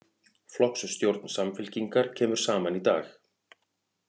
Flokksstjórn Samfylkingar kemur saman í dag